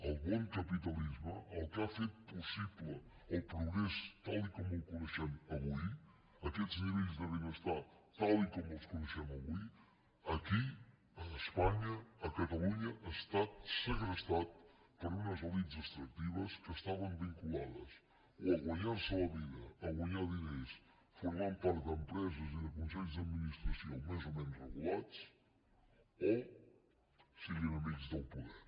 el bon capitalisme el que ha fet possible el progrés tal com el coneixem avui aquests nivells de benestar tal com els coneixem avui aquí a espanya a catalunya ha estat segrestat per unes elits extractives que estaven vinculades o a guanyar se la vida a guanyar diners formant part d’empreses i de consells d’administració més o menys regulats o sent amics del poder